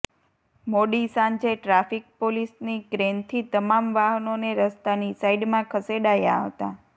મોડી સાંજે ટ્રાફિક પોલીસની ક્રેનથી તમામ વાહનોને રસ્તાની સાઈડમાં ખસેડાયા હતા